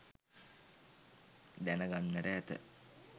දැන ගන්නට ඇත.